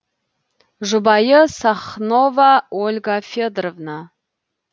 жұбайы сахнова ольга федоровна